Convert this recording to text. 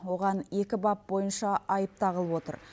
оған екі бап бойынша айып тағылып отыр